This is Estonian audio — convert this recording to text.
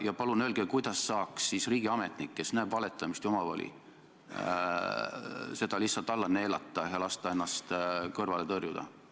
Ja palun öelge, kuidas saaks riigiametnik, kes näeb valetamist ja omavoli, selle lihtsalt alla neelata ja lasta ennast kõrvale tõrjuda.